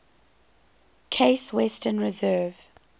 case western reserve